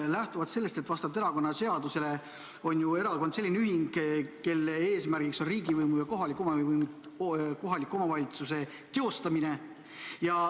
Aga vastavalt erakonnaseadusele on erakond selline ühing, kelle eesmärk on riigivõimu ja kohaliku omavalitsuse teostamine.